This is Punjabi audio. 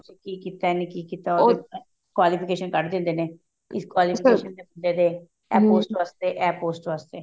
ਕੀ ਕੀਤਾ ਇਹਨੇ ਕੀ ਕੀਤਾ qualification ਕੱਢ ਦਿੰਦੇ ਨੇ ਇਸ qualification ਇਹ post ਵਾਸਤੇ ਇਹ post ਵਾਸਤੇ